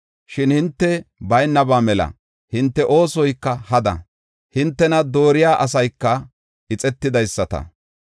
Shin hinte baynaba mela; hinte oosoyka hada; hintena dooriya asayka ixetidaysata.